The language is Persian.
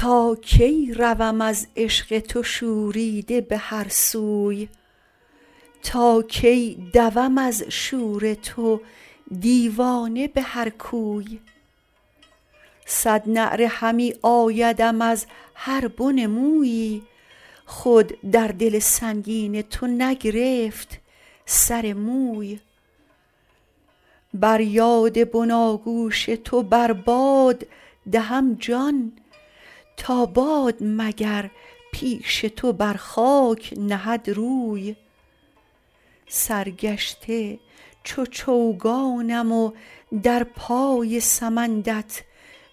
تا کی روم از عشق تو شوریده به هر سوی تا کی دوم از شور تو دیوانه به هر کوی صد نعره همی آیدم از هر بن مویی خود در دل سنگین تو نگرفت سر موی بر یاد بناگوش تو بر باد دهم جان تا باد مگر پیش تو بر خاک نهد روی سرگشته چو چوگانم و در پای سمندت